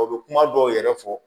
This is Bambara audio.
O bɛ kuma dɔw yɛrɛ fɔ